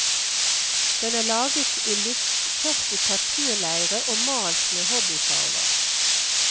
Den er laget i lufttørket papirleire og malt med hobbyfarver.